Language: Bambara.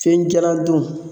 Fen jalan dun